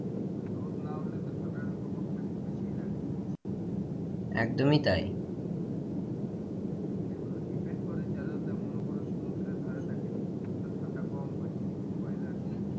রোদ না উঠলে তো ঠান্ডাটার প্রকোপটা একটু বেশিই লাগে একদমই তাই এগুলো depend করে যারা মনে করো সমুদ্রের ধারে থাকে তাদের তো ঠান্ডা কম হয় weather